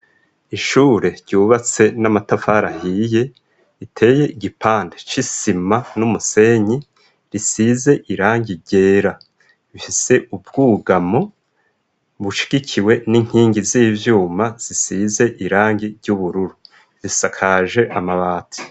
Ishure ryubatse n'amatafari ahiye, riteye igipande c'isima n'umusenyi, risize irangi ryera, rifise ubwugamo bushigikiwe n'inkingi z'ivyuma zisize irangi ry'ubururu, risakaje amabati.